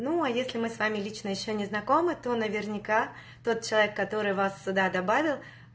ну а если мы с вами лично ещё не знакомы то наверняка тот человек который вас сюда добавил